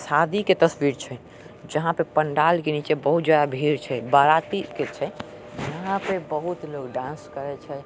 शादी के तस्वीर छै जहां पे पंडाल के नीचे बहुत जाया भीड़ छै बाराती के छै यहां पे बहुत लोग डांस करय छै।